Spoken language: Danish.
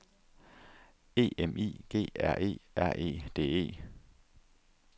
E M I G R E R E D E